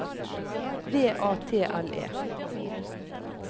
V A T L E